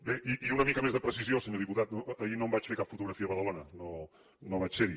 bé i una mica més de precisió senyor diputat no ahir no em vaig fer cap fotografia a badalona no vaig ser hi